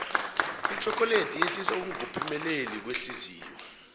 itjhokoledi yehlisa ukungophemeleli kwehliziyo